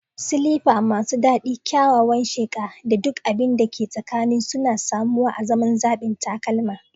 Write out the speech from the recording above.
Silifa masu dadi, kyawawan sheqa, da duk abin da ke tsakanin suna samuwa azaman zaɓin takalma.